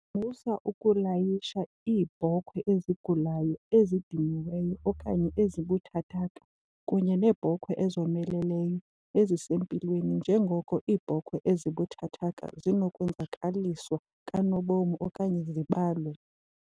Musa ukulayisha iibhokhwe ezigulayo, ezidiniweyo okanye ezibuthathaka kunye neebhokhwe ezomeleleyo ezisempilweni njengoko iibhokhwe ezibuthathaka zinokwenzakaliswa kanobom okanye zibalwe.